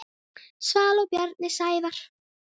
Svala og Bjarni Sævar.